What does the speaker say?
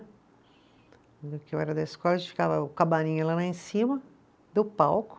Que eu era da escola, a gente ficava o camarim era lá em cima do palco,